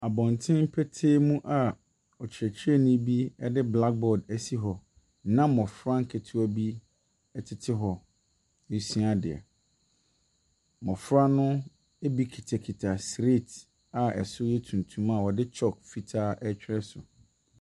Abɔnten petee mu a ɔkyerɛkyerɛni bi de blackboard asi hɔ na mmɔfra nketewa bi tete hɔ resua adeɛ. Mmɔfra no bi kutakuta slate a ɛso yɛ tuntum a wɔde chalk fitaa retwerɛ so.